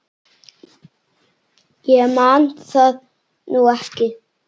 Ég man það nú ekki.